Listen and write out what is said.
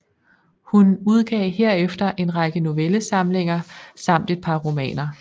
Hun udgav herefter en række novellesamlinger samt et par romaner